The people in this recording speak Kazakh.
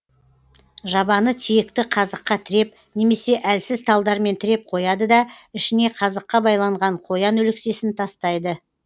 жабаны тиекті қазыққа тіреп немесе әлсіз талдармен тіреп қояды да ішіне қазыққа байланған қоян өлексесін тастайды